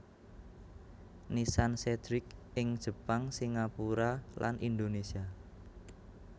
Nissan Cedric ing Jepang Singapura dan Indonesia